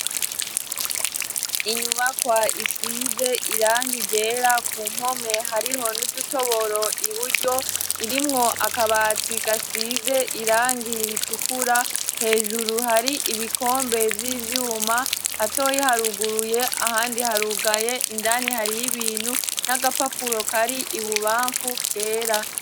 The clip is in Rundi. Inyubakwa isize irangi ryera, ku mpome hariho n'udutoboro iburyo, irimwo akabati gasize irangi ritukura, hejuru hari ibikombe vy'ivyuma; hatoyi haruguruye ahandi harugaye. Indani hariyo ibintu n'agapapuro kari i bubamfu kera.